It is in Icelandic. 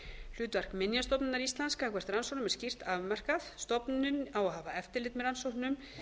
hlutverk minjastofnunar íslands gagnvart rannsóknum er skýrt afmarkað stofnunin á að hafa eftirlit með rannsóknum